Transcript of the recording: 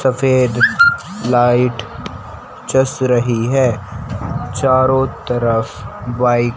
सफेद लाइट जस रही है चारों तरफ वाइ--